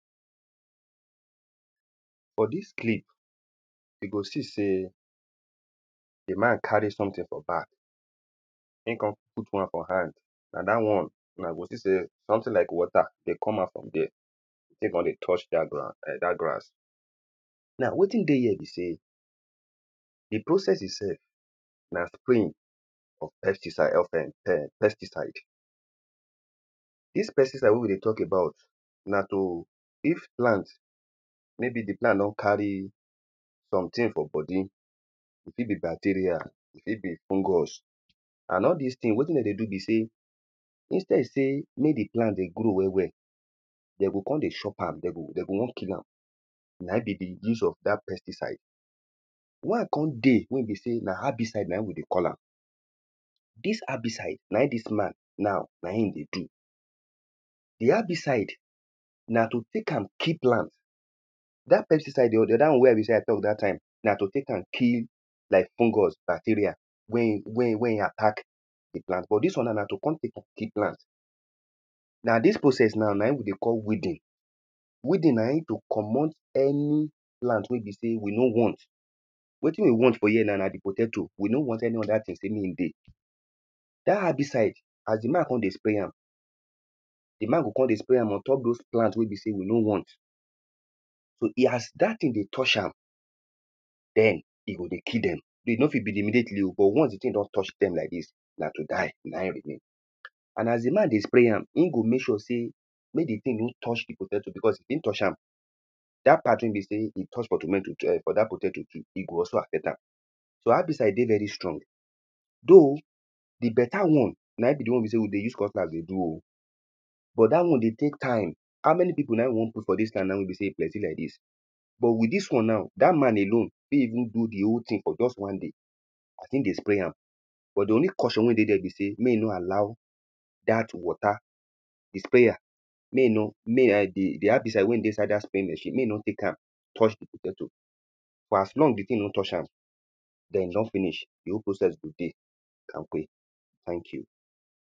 for dis clip he go see sey the man carry someting for back in con put one for hand na dat one, una go think sey someting like water dey come out from dere the ting con dey touch dat ground dat grass now wetin dey here be sey the processes itself na spraying of pesticide of [um]pesticide dis pesticide wey we dey tok about na to if plant maybe the plant no carry someting for body e fit be bacteria e fit be fungus and all dis ting wetin dem dey do be sey instead sey mek the plant dey grow well well dem go con dey chop am, dem go, dem go wan kill am na in be the use of dat pesticide one con dey wey be sey, na herbicide na we dey call am dis herbicide na in dis man now na in he dey do the herbicide na to take am kill plant dat pesticide dey the other one wey he be sey i tok dat time na to take am kill like fungus, bacteria when he when he, when he attack the plant. but dis one na na to con take [am] kill plant na dis process now na in we dey call weeding weeding na in to comot any plant wey be sey we no want wetin we want for here na, na the potato, we no want any other ting sey mek in dey dat herbicide as the man con dey spray am the man go con dey spray am on top dose plant wey be sey we no want so he as dat ting dey touch am den he go dey kill dem he no fit be immediately o, but once the ting don touch dem like dis na to die na in remain and as the man dey spray am in go mek sure sey mek the ting no touch the potato because if in touch am dat part wey he be sey he touch um for dat potato too he go also affect am so herbicide dey very strong though the better one na in be the one wey be sey we dey use cutlass dey do o but dat one dey take time how many pipo na we wan put for dis land wey be sey he plenty like dis but with dis one now dat man alone fit even do the whole ting for just one day as hin dey spray am but the only caution wey dey dere be sey mek he no allow dat water the sprayer may hi no the herbicide wey in dey inside dat spraying machine, mey he no take am touch the potato for as long the ting no touch am den in don finish the whole process go dey kampe thank you